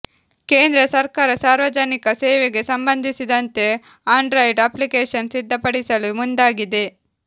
ಕೇಂದ್ರ ಸರ್ಕಾರ ಸಾರ್ವಜನಿಕ ಸೇವೆಗೆ ಸಂಬಂಧಿಸಿದಂತೆ ಆಂಡ್ರಾಯ್ಡ್ ಅಪ್ಲಿಕೇಶನ್ ಸಿದ್ದಪಡಿಸಿಲು ಮುಂದಾಗಿದೆ